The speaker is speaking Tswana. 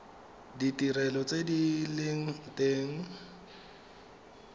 ditirelo tse di leng teng